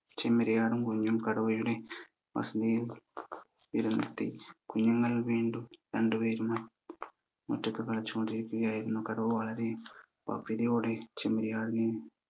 ചെമ്മരിയാടും കുഞ്ഞും കടുവയുടെ വസതിയിൽ കുഞ്ഞുങ്ങൾ വീണ്ടും രണ്ട് പേരും ഒറ്റക്ക് കളിച്ചുകൊണ്ടിരിക്കിയായിരുന്നു കടുവ വളരെ യോടെ ചെമ്മരിയാടിനെ